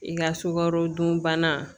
I ka sukarodunbana